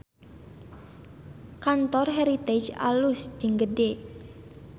Kantor Heritage alus jeung gede